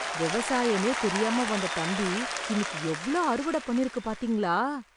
விவசாயமே தெரியாம வந்த தம்பி இன்னிக்கு எவ்ளோ அறுவடை பண்ணிறுக்குப் பாத்தீங்களா?